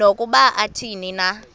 nokuba athini na